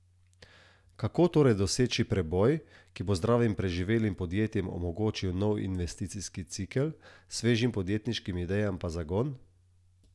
Kako torej doseči preboj, ki bo zdravim preživelim podjetjem omogočil nov investicijski cikel, svežim podjetniškim idejam pa zagon?